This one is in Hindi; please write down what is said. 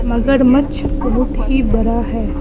मगरमच्छ बहुत ही बड़ा है।